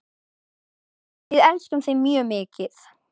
Við elskum þig mjög mikið.